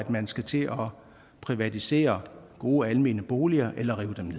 man skal til at privatisere gode almene boliger eller rive dem